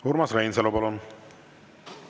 Urmas Reinsalu, palun!